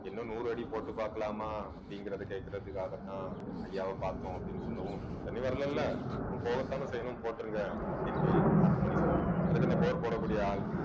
இன்னும் நூறு அடி போட்டு பார்க்கலாமா அப்படிங்கிறதை கேட்கிறதுக்காகத்தான் ஐயாவை பார்த்தோம் அப்படின்னு சொல்லவும் தண்ணி வரலேல்ல அப்போம் போடத்தானே செய்யணும் போட்டுருங்க அப்படின்னு கேள் அருள்மொழி சொல்றான் அதுக்கு என்ன bore போடக்கூடிய ஆள்